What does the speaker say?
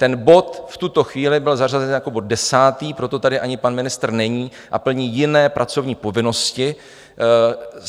Ten bod v tuto chvíli byl zařazen jako bod desátý, proto tady ani pan ministr není a plní jiné pracovní povinnosti.